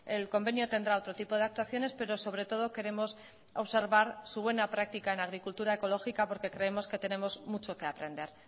el convenio tendrá otro tipo de actuaciones pero sobre todo queremos observar su buena práctica en agricultura ecológica porque creemos que tenemos mucho que aprender